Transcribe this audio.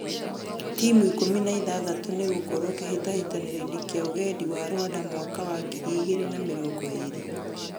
Timu ikũmi na ithathatũ nĩigũkorwo kĩhĩtahĩtanoinĩ kia Ũgendi wa Rwanda mwaka wa ngiri igĩrĩ na mĩrongo ĩrĩ.